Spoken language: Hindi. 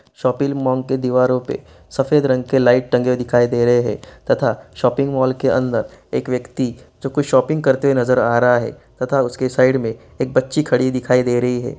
शॉपिंग मॉल के दीवारों पे सफेद रंग के लाइट टंगे दिखाई दे रहे हैं तथा शॉपिंग मॉल के अंदर एक व्यक्ति कोई व्यक्ति शॉपिंग करते नजर आ रहा है तथा उसके साइड में एक बच्ची खड़ी दिखाई दे रही है।